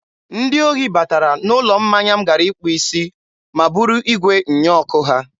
Ndị ohi batara n'ụlọ mmanya m gara ịkpụ isi ma buru igwe nnyeọkụ ha.